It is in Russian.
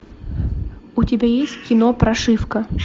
у тебя есть кино прошивка